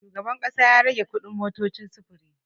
Shugaban ƙasa ya rage kuɗin motocin sufuri.